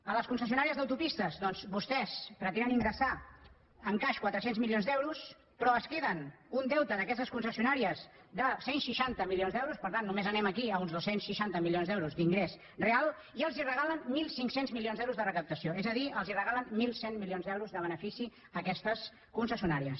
a les concessionàries d’autopistes doncs vostès pretenen ingressar en cash quatre cents milions d’euros però es queden un deute d’aquestes concessionàries de cent i seixanta milions d’euros per tant només anem aquí a uns dos cents i seixanta milions d’euros d’ingrés real i els regalen mil cinc cents milions d’euros de recaptació és a dir els regalen mil cent milions d’euros de benefici a aquestes concessionàries